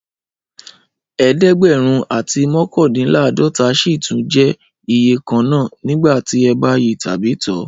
Ẹẹdegbẹrun ati mokandinlaadota sì tún jẹ iye kan na nigbati e ba yíi tàbí to.